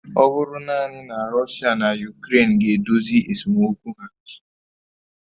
Ọ bụrụ naanị na Russia na Ukraine ga-edozi esemokwu ha